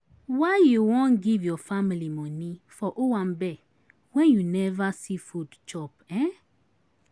Why you wan give your family moni for owambe wen you neva see food chop? um